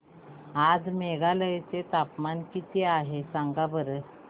आज मेघालय चे तापमान किती आहे सांगा बरं